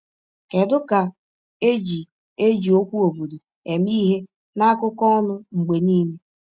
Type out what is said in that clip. Kedu ka e ji eji okwu “obodo” eme ihe n’akụkọ ọnụ mgbe niile?